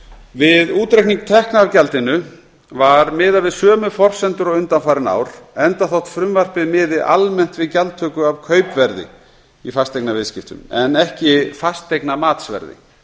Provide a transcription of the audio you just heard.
við útreikning tekna af gjaldinu var miðað við sömu forsendur og undanfarin ár enda þótt frumvarpið miði almennt við gjaldtöku af kaupverði í fasteignaviðskiptum en ekki fasteignamatsverði